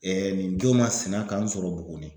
nin don masina ka n sɔrɔ Buguni.